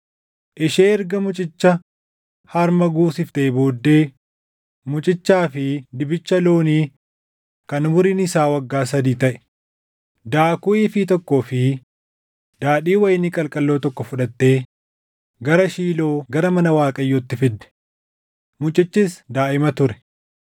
Ishee erga mucicha harma guusiftee booddee mucichaa fi dibicha loonii kan umuriin isaa waggaa sadii taʼe, daakuu iifii + 1:24 Iifiin tokko kiiloo giraamii 40. tokkoo fi daadhii wayinii qalqalloo tokko fudhattee gara Shiiloo gara mana Waaqayyootti fidde. Mucichis daaʼima ture.